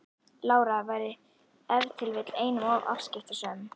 Lára væri ef til vill einum of afskiptasöm.